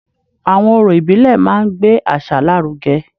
Àwọn orò ìbílẹ̀ máa ń gbé àṣà lárugẹ